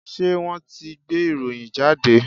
Ṣé wọ́n ti gbé ìròyìn jáde?